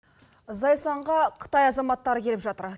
зайсанға қытай азаматтары келіп жатыр